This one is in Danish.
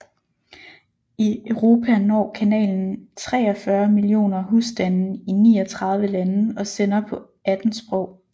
I Europa når kanalen 43 millioner husstande i 39 lande og sender på 18 sprog